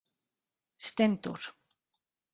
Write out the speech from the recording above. Steindór